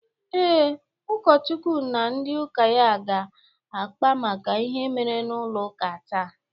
Ee, ụkọchukwu na ndị ụka ya ga-akpa maka ihe mere n'ụlọ ụka taa.